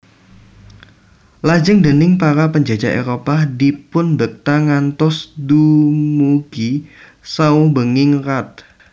Lajeng déning para panjajah Éropah dipunbekta ngantos dumugi saubenging rat